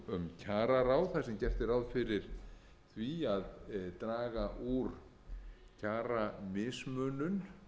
um kjararáð þar sem gert er ráð fyrir því að draga úr kjaramismunun